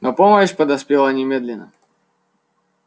но помощь подоспела немедленно